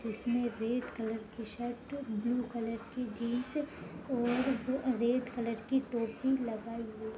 जिसने red colour की shirt blue colour की जीन्स और रेड कलर की टोपी लगाए हुई है।